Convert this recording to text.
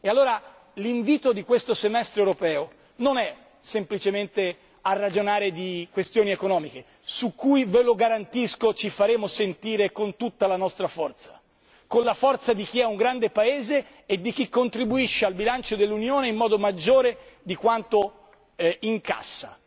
E allora l'invito di questo Semestre europeo non è semplicemente a ragionare di questioni economiche, su cui ve lo garantisco ci faremo sentire con tutta la nostra forza, con la forza di chi è un grande Paese e di chi contribuisce al bilancio dell'Unione di più di quando incassa.